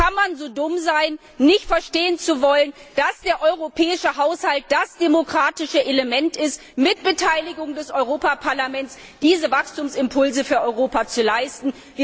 Wie kann man so dumm sein, nicht verstehen zu wollen, dass der europäische Haushalt das demokratische Element ist, um mit Beteiligung des Europäischen Parlaments diese Wachstumsimpulse für Europa zu leisten.